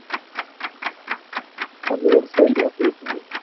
அது ஒரு side ல அப்படியே போகுது